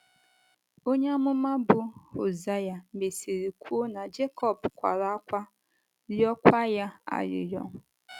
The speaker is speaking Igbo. Onye amụma bụ́ Hozea mesịrị kwuo na Jekọb “ kwara ákwá, rịọkwa ya arịrịọ. ”